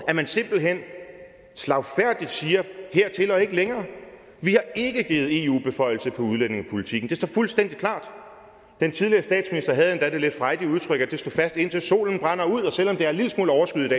at man simpelt hen slagfærdigt siger hertil og ikke længere vi har ikke givet eu beføjelse på udlændingepolitikken det står fuldstændig klart den tidligere statsminister havde endda det lidt frejdige udtryk at det står fast indtil solen brænder ud selv om det er en lille smule overskyet